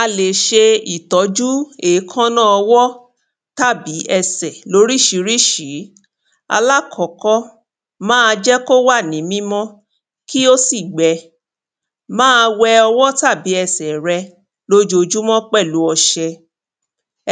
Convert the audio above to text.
a lè ṣe ìtójú èkánná ọwọ́ àti ẹsẹ̀ lórísirísi, lákọ́kọ́ máa jẹ́ kí ó wà ní mímọ́, kí ó sì gbẹ máa wẹ ọwọ́ tàbí ẹsẹ̀ rẹ lójojúmọ́ pẹ̀lu ọṣe,